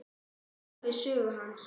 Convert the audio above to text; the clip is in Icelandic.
Ævisögu hans.